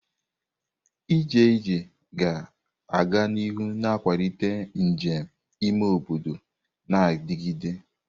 Ije ije ga-aga n'ihu na-akwalite njem ime obodo na-adigide.